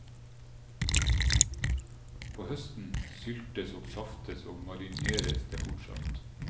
På høsten syltes og saftes og marineres det fortsatt.